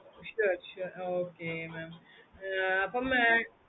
sure sure okay mam ah அப்புறமா